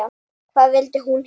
Hvað vildi hún hingað?